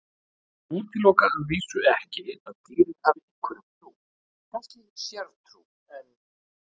Ég útiloka að vísu ekki að dýrin hafi einhverja trú, kannski sértrú, en.